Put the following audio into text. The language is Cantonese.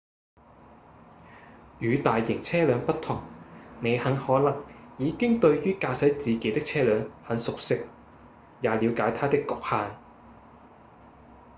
與大型車輛不同你很可能已經對於駕駛自己的車輛很熟悉也了解它的侷限